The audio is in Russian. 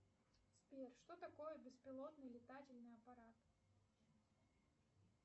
сбер что такое беспилотный летательный аппарат